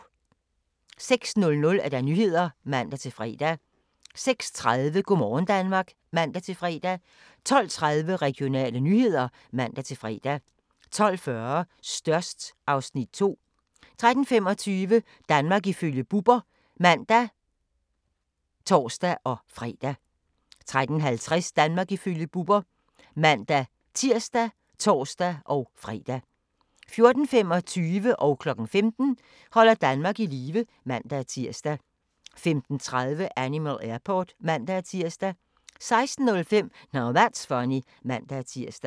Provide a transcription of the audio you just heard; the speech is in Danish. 06:00: Nyhederne (man-fre) 06:30: Go' morgen Danmark (man-fre) 12:30: Regionale nyheder (man-fre) 12:40: Størst (Afs. 2) 13:25: Danmark ifølge Bubber (man og tor-fre) 13:50: Danmark ifølge Bubber (man-tir og tor-fre) 14:25: Holder Danmark i live (man-tir) 15:00: Holder Danmark i live (man-tir) 15:30: Animal Airport (man-tir) 16:05: Now That's Funny (man-tir)